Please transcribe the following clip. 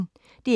DR P1